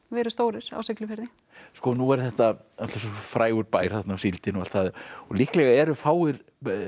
verið stórir á Siglufirði nú er þetta frægur bær síldin og allt það og líklega eru fáir